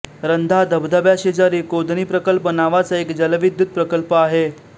रंधा धबधब्याशेजारी कोदणी प्रकल्प नावाचा एक जलविद्युत प्रकल्प आहे